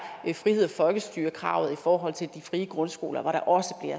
friheds og folkestyrekravet i forhold til de frie grundskoler hvor der også